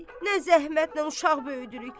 Nə zəhmətlə uşaq böyüdürük.